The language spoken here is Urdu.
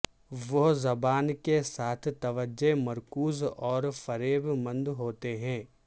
وہ زبان کے ساتھ توجہ مرکوز اور فریب مند ہوتے ہیں